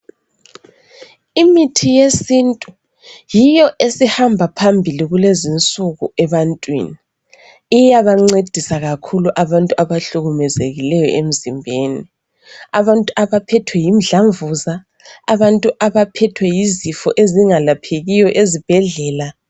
Imithi yesintu yiyo esihamba phambili kulezinsuku ebantwini, iyabancedisa kakhulu abantu abahlukumezekileyo emzimbeni, abantu abaphethwe yimdlamvuza abantu abaphethwe yizifo ezingalaphekiyo ezibhedlela.